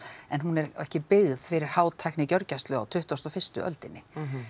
en hún er ekki byggð fyrir á tuttugustu og fyrstu öldinni